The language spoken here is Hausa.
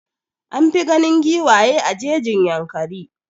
An fi ganin giwaye a jejin Yankari.